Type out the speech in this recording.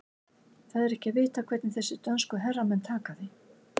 Það er ekki að vita hvernig þessir dönsku herramenn taka því.